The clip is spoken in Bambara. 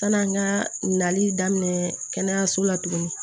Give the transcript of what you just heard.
Sani an ka nali daminɛ kɛnɛyaso la tuguni